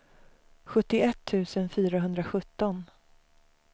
sjuttioett tusen fyrahundrasjutton